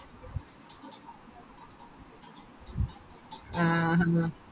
ആ ഹ